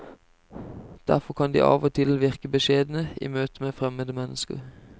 Derfor kan de av og til virke beskjedne i møte med fremmede mennesker.